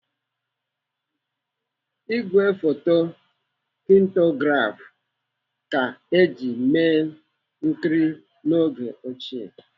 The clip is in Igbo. Igwe foto kinetograph ka eji mee nkiri n'oge ochie.